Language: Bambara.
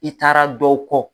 I taara dɔw kɔ.